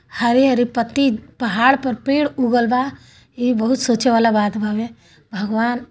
हरे- हरे पत्ती पहाड़ पर पेड़ उगल बा। इ बहुत सोचे वाला बात बावे। भगवान ---